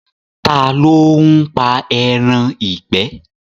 Ta ló ń pa ẹran ìgbẹ́?